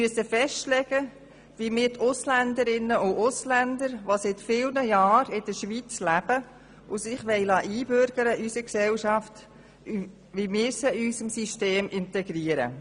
Wir müssen festlegen, wie wir die Ausländer und Ausländerinnen, die seit vielen Jahren in der Schweiz leben und sich in unsere Gesellschaft einbürgern lassen wollen, in unser System integrieren.